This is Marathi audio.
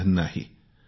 काही वयोमर्यादा नाही